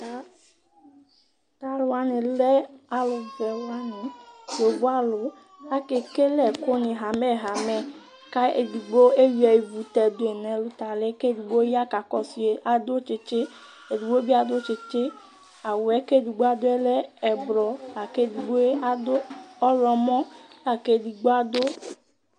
T'aluwani lɛ alu fuewani yovo alu, aka ekele ɛku ni hamɛhamɛ, ka edigbo ewia tɛduyi n'ɛlutali, k'edigbo ya ka kɔsu yi adu tsitsi, edigbo bi adu tsitsi, awùɛ k'edigbo aduɛ lɛ ɛblɔ la k'edigboe adu ɔwlɔmɔ la k'edigbo adu